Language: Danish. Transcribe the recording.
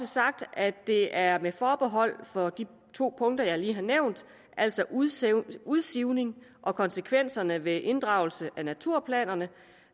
sagt at det er med forbehold for de to punkter jeg lige har nævnt altså udsivning udsivning og konsekvenserne ved inddragelse af naturplanerne